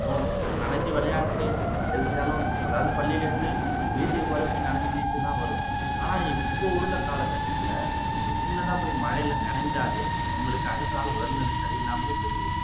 தோணும் நனைஞ்சு விளையாண்டுட்டு பள்ளில இருந்து வீட்டுக்கு போறப்பவே நனைஞ்சுட்டுதான் வருவோம் ஆனா இப்போ உள்ள காலகட்டத்துல நீங்க சின்னதா போய் மழைல நனைஞ்சாலே உங்களுக்கு அடுத்ததா உடல்நிலை சரியில்லாமலே போயிருது